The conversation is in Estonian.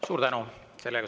Suur tänu!